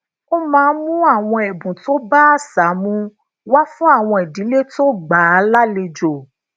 ó máa ń mú àwọn èbùn tó bá àṣà mu wá fun àwọn ìdílé tó gbà á lálejò